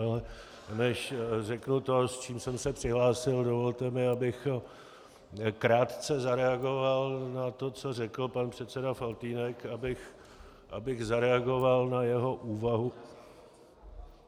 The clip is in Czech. Ale než řeknu to, s čím jsem se přihlásil, dovolte mi, abych krátce zareagoval na to, co řekl pan předseda Faltýnek, abych zareagoval na jeho úvahu...